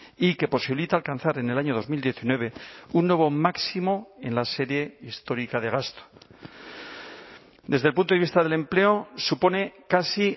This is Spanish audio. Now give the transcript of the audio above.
y que posibilita alcanzar en el año dos mil diecinueve un nuevo máximo en la serie histórica de gasto desde el punto de vista del empleo supone casi